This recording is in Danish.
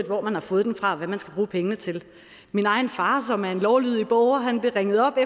hvor man har fået den fra og hvad man skal bruge pengene til min egen far som er en lovlydig borger blev ringet op af